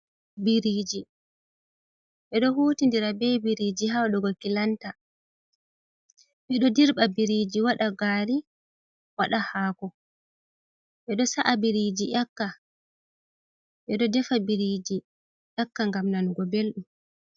Biriji. Beɗo hutindira be biriji ha wadugo kilanta. Beɗo ɗirba biriji wada ha gari, wada haako. Beɗo sa'a Biriji nyaka. Beɗo sa'a biriji ngam nanugo beldum.